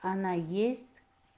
она есть